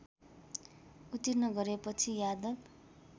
उत्तीर्ण गरेपछि यादव